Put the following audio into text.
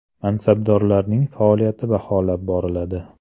Mansabdorlarning faoliyati baholab boriladi.